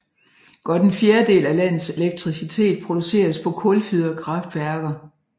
Godt en fjerdedel af landets elektricitet produceres på kulfyrede kraftværker